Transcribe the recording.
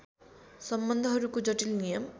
सम्बन्धहरूको जटिल नियम